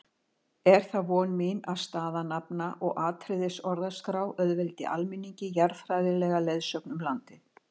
Er það von mín að staðanafna- og atriðisorðaskrá auðveldi almenningi jarðfræðilega leiðsögn um landið.